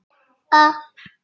Fyrir framan Öldu.